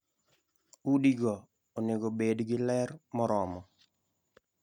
Udi go onego obed gi ler moromo.